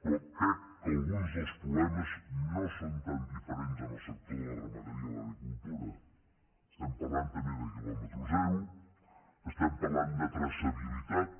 però crec que alguns dels problemes no són tan diferents en el sector de la ramaderia i l’agricultura estem parlant també de quilòmetre zero estem parlant de traçabilitat